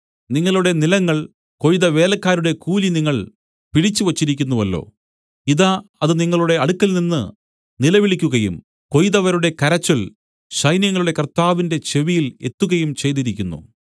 നിങ്ങളുടെ നിലങ്ങൾ കൊയ്ത വേലക്കാരുടെ കൂലി നിങ്ങൾ പിടിച്ചുവച്ചിരിക്കുന്നുവല്ലോ ഇതാ അത് നിങ്ങളുടെ അടുക്കൽനിന്ന് നിലവിളിക്കുകയും കൊയ്തവരുടെ കരച്ചിൽ സൈന്യങ്ങളുടെ കർത്താവിന്റെ ചെവിയിൽ എത്തുകയും ചെയ്തിരിക്കുന്നു